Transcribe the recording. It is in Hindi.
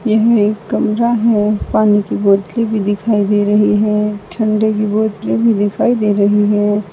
यह एक कमरा है। पानी की बोतलें भी दिखाई दे रही है। ठंडे की बोतलें भी दिखाई दे रही हैं।